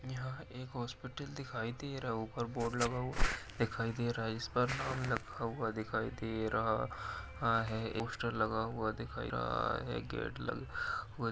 यहाँ एक हॉस्पिटल दिखाई दे रहा ऊपर बोर्ड लगा हुआ दिखाई दे रहा है | इसपर हुआ दिखाई दे रहा हा है | पोस्टर लगा हुआ दिख रहा है | गेट लगा हुआ --